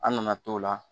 An nana t'o la